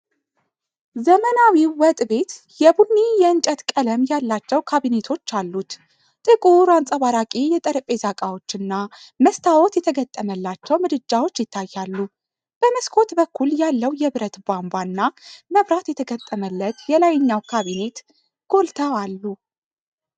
ዘመናዊው ወጥ ቤት የቡኒና የእንጨት ቀለም ያላቸው ካቢኔቶች አሉት። ጥቁር አንጸባራቂ የጠረጴዛ ዕቃዎች እና መስታወት የተገጠመላቸው ምድጃዎች ይታያሉ። በመስኮት በኩል ያለው የብረት ቧንቧ እና መብራት የተገጠመለት የላይኛው ካቢኔት ጎልተው አሉ።